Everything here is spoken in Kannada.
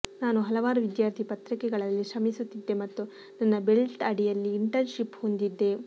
ನಾನು ಹಲವಾರು ವಿದ್ಯಾರ್ಥಿ ಪತ್ರಿಕೆಗಳಲ್ಲಿ ಶ್ರಮಿಸುತ್ತಿದ್ದೆ ಮತ್ತು ನನ್ನ ಬೆಲ್ಟ್ ಅಡಿಯಲ್ಲಿ ಇಂಟರ್ನ್ಶಿಪ್ ಹೊಂದಿದ್ದೆ